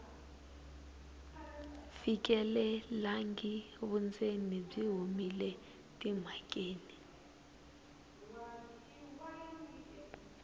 fikelelangi vundzeni byi humile emhakeni